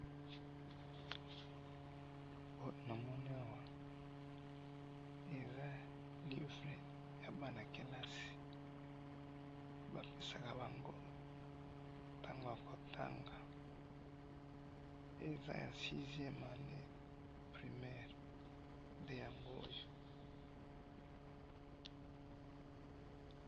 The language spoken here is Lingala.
namoni awa eza livre ya bana kelasi bapesaka bango tango ya kotanga ,eza ya 6 ieme yango primaire nde ya ngoyo.